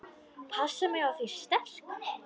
Passa mig á því sterka.